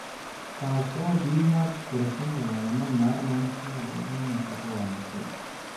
kaas oo bixiya borotiinka lagama maarmaanka u ah nafaqo wanaagsan.